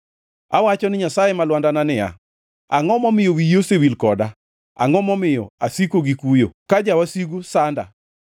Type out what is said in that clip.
Awacho ni Nyasaye ma lwandana niya, “Angʼo momiyo wiyi osewil koda? Angʼo momiyo asiko gi kuyo ka jawasigu sanda?”